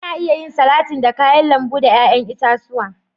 Ana iya yin salatin da kayan lambu da yayan itatuwa.